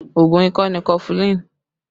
Oògùn ikọ́ ni kọfulin